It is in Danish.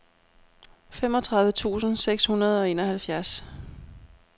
femogtredive tusind seks hundrede og enoghalvfjerds